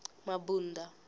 mabunda